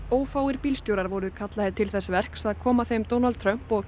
ófáir bílstjórar voru kallaðir til þess verks að koma þeim Donald Trump og